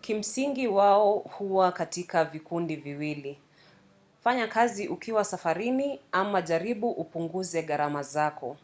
kimsingi wao huwa katika vikundi viwili: fanya kazi ukiwa safarini ama jaribu upunguze gharama zako.